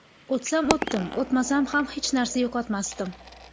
O‘tsam o‘tdim, o‘tmasam ham hech narsa yo‘qotmasdim.